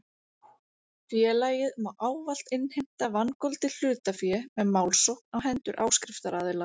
Félagið má ávallt innheimta vangoldið hlutafé með málsókn á hendur áskriftaraðila.